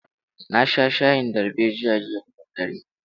Na sha shayin darbejiya jiya da daddare.